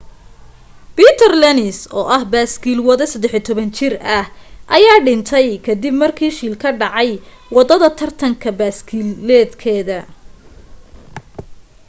peter lenz oo ah baaskiil wade 13 jir ah ayaa dhintay kadib markii shil ka dhacay wadada tartan baskiiladeedka